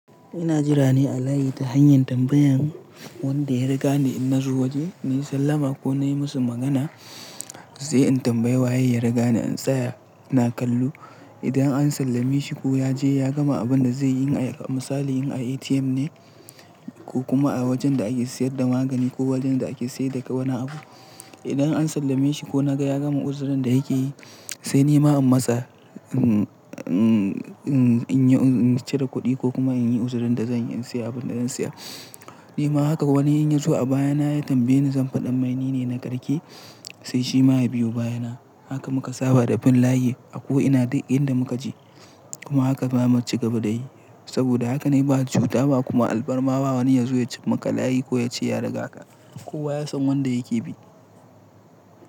Ina jira ne a layi ta hanyar tambayan wanda ya riga ni in na zo waje, nayi sallama ko na yi musu magana, sai in tambayi waye ya riga ni in tsaya. Ina kallo idan an sallame shi ko ya je ya gama abin da zai yi. A misali in a ATM ne ko kuma a wajen da ake sayar da magani ko wajen da ake sayar da wani abu. Idan an sallami shi ko na ga ya gama uzurin da yake yi, sai ni ma in matsa in cire kuɗi ko kuma in yi uzurin da zan yi, in sayi abin da zan saya. Ni ma haka wani ya zo a baya na ya tambaye ni zan faɗammai nine na ƙarshe, sai shi ma ya biyo baya na. Haka muka saba da bin layi a ko ina duk inda muka je. Kuma haka za mu ci gaba da yi saboda haka ne ba cuta ba kuma alfarma ba wani ya zo ya ci maka layi ko ya ce ya riga ka. Kowa ya san wanda yake bi.